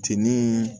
Jeni